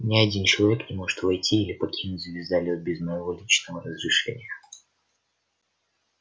ни один человек не может войти или покинуть звездолёт без моего личного разрешения